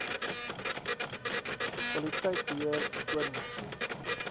kwaliteit beheer skoonmaak